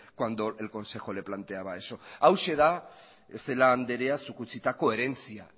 cuando el consejo le planteaba eso hauxe da celaá andrea zuk utzitako herentzia